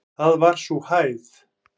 Það var sú hæð.